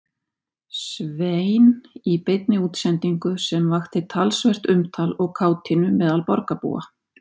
Svein í beinni útsendingu sem vakti talsvert umtal og kátínu meðal borgarbúa.